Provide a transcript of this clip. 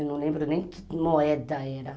Eu não lembro nem que moeda era.